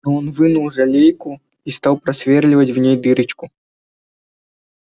он вынул жалейку и стал просверливать в ней дырочку